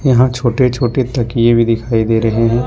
यहां छोटे छोटे तकिए भी दिखाई दे रहे हैं।